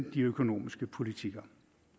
de økonomiske politikker